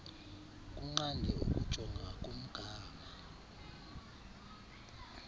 kunqande ukujonga kumgama